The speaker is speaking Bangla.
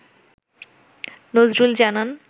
নজরুল জানান